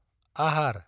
आहार